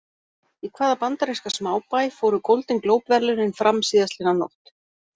Í hvaða bandaríska smábæ fóru Golden Globe verðlaunin fram síðastliðna nótt?